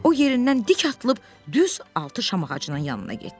O yerindən dik atılıb düz altı şam ağacının yanına getdi.